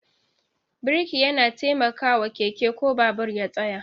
Birki yana taimakawa keke ko babur ya tsaya